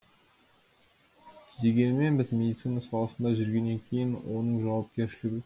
дегенмен біз медицина саласында жүргеннен кейін оның жауапкершілігі